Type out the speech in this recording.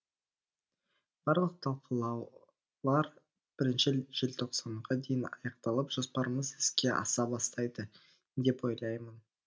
барлық талқылаулар бірінші желтоқсанға дейін аяқталып жоспарымыз іске аса бастайды деп ойлаймын